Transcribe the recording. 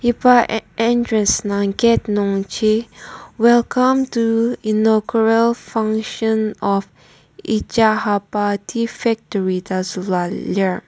iba en entrance nungji welcome to innuagural function of echahaba tea factory ta zülua lir.